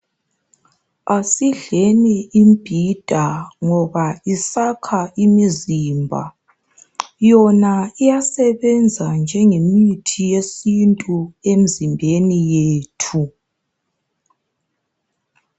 Asidleni imbhida ngoba isakha imizimba. Yona iyasebenza njenge mithi yesintu emizimbeni yethu.